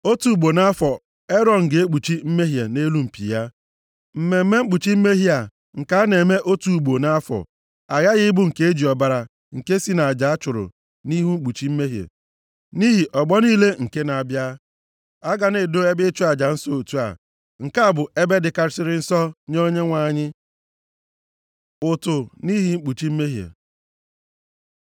Otu ugbo nʼafọ Erọn ga-ekpuchi mmehie nʼelu mpi ya. Mmemme mkpuchi mmehie a nke a na-eme otu ugbo nʼafọ, aghaghị ịbụ nke e ji ọbara nke si nʼaja a chụrụ nʼihi mkpuchi mmehie, + 30:10 Maọbụ, ido nsọ nʼihi ọgbọ niile nke na-abịa. A ga na-edo ebe ịchụ aja nsọ otu a. Nke a bụ ebe dịkarịsịrị nsọ nye Onyenwe anyị.” Ụtụ nʼihi ikpuchi mmehie